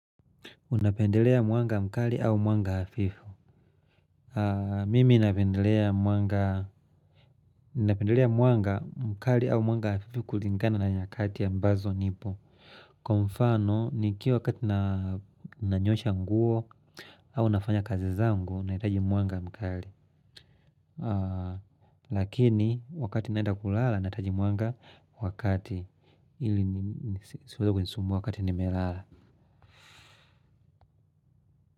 Unapendelea mwanga mkali au mwanga hafifu mimi napendelea mwanga napendelea mwanga mkali au mwanga hafifu kulingana na nyakati ambazo nipo kwa mfano nikiwa wakati nanyosha nguo au nafanya kazi zangu, nahitaji mwanga mkali lakini wakati naenda kulala, nahitaji mwanga wa kati ili nisiweze kusumbua wakati nimelala.